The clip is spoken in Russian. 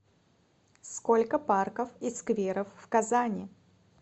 сколько парков и скверов в казани